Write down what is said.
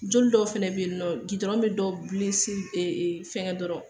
Joli dɔw fɛnɛ be yen nɔn dɔ fɛngɛ dɔrɔn